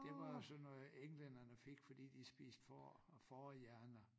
Det var sådan noget englænderne fik fordi de spiste får og fårehjerner